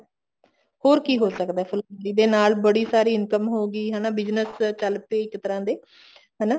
ਹੋਰ ਕੀ ਹੋ ਸਕਦਾ ਫੁਲਕਾਰੀ ਦੇ ਨਾਲ ਬੜੀ ਸਾਰੀ income ਹੋਗੀ ਹਨਾ business ਚੱਲ ਪਏ ਇੱਕ ਤਰ੍ਹਾਂ ਦੇ ਹਨਾ